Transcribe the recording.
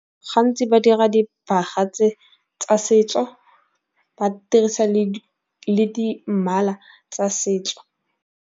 Gantsi ba dira dibaga tse tsa setso ba dirisa le di dimala tsa setso.